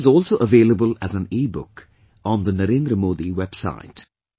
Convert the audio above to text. This is also available as an ebook on the Narendra Modi Website